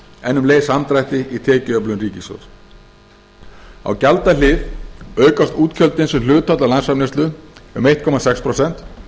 en um leið samdrætti í tekjuöflun ríkissjóðs á gjaldahlið aukast útgjöldin sem hlutfall af landsframleiðslu um einn komma sex prósent